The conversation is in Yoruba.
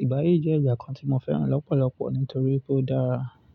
Ìgbà yí jẹ́ ìgbà kan tí mo fẹ́ràn lọ́pọ̀lọpọ̀ nítorí pé ó dára.